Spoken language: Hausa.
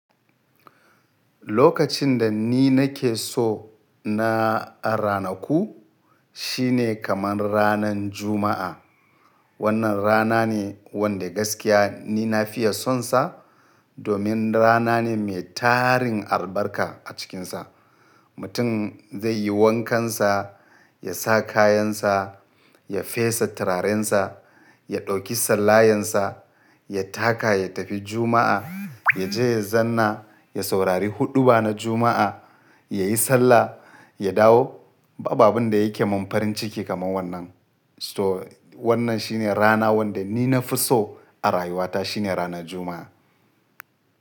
Lokacin da ni nake so na ranaku shine kamar ranan Juma'a. Wannan rana ne wanda gaskiya ni na fiya sonsa domin rana ne mai tarin albarka a cikinsa. Mutum zai yi wankansa, ya sa kayansa, ya fesa turarensa, ya ɗauki sallayensa, ya taka ya tafi Juma'a, ya je ya zanna, ya saurari huɗuba na Juma'a, ya yi sallah, ya dawo. Babu abinda yake mun farin ciki kamar wannan. So wannan shine rana wanda ni na fi so a rayuwata shine ranar Juma'a.